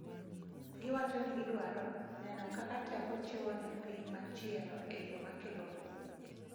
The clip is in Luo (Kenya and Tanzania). Giwacho ni gidwaro "neno kaka teko chiwo ne piny machielo e yo ma kelo kuwe."